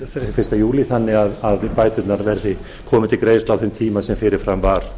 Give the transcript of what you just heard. fyrir fyrsta júlí þannig að bæturnar komi til greiðslu á þeim tíma sem fyrirfram var